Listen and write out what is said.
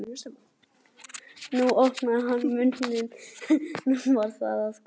nú opnaði hann munninn. nú var það að koma!